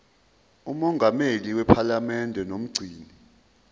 mongameli wephalamende nomgcini